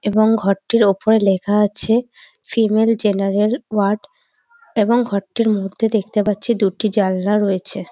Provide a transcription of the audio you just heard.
এবং ঘরটির ওপরে লেখা আছে ফিমেল জেনারেল ওয়ার্ড এবং ঘরটির মধ্যে দেখতে পাচ্ছি দুটি জানলা রয়েছে।